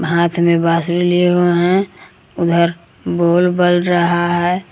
हाथ में बांसुरी लिए हैं उधर बोल बल रहा है।